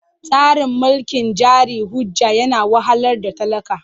Tsarin mulkin jari hujja yana wahalar da talaka.